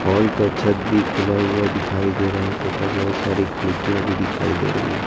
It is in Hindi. हॉल का छत भी खुला हुआ दिखाई दे रहा है तथा बहोत सारी खिड़कियां भी दिखाई दे रही है।